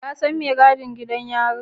Ka san mai gadin gidan yarin?